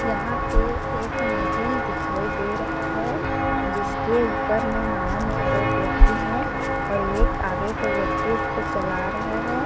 यहाँ पे एक नदी दिखाई दे रहा है जिसके ऊपर में नाव में दो व्यक्ति है और एक आगे की व्यक्ति उसको चला रहा हैं ।